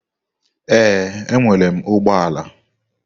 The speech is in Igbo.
Ee, enwere m ụgbọ ala.